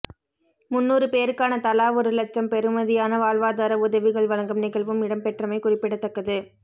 முந்நூறு பேருக்கான தலா ஒரு இலட்சம் பெறுமதியான வாழ்வாதார உதவிகள் வழங்கும் நிகழ்வும் இடம்பெற்றமை குறிப்பிடத்தக்கது